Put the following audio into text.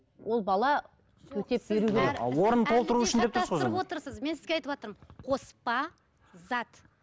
ол бала төтеп беру керек мен сізге айтыватырмын қоспа зат